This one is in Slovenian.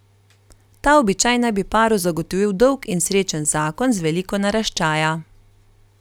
Ta običaj naj bi paru zagotovil dolg in srečen zakon z veliko naraščaja.